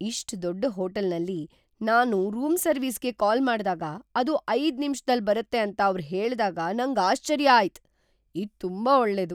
ಇಷ್ಟು ದೊಡ್ಡ ಹೋಟೆಲ್ನಲ್ಲಿ ನಾನ್ ರೂಮ್ ಸರ್ವಿಸ್ಗೆ ಕಾಲ್ ಮಾಡ್ದಾಗ ಅದು ಐದು ನಿಮಿಷದಲ್ ಬರುತ್ತೆ ಅಂತ ಅವ್ರು ಹೇಳ್ದಾಗ ನಂಗ್ ಆಶ್ಚರ್ಯ ಆಯ್ತ್. ಇದು ತುಂಬಾ ಒಳ್ಳೇದು.